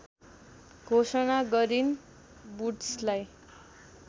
घोषणा गरिन् वुड्सलाई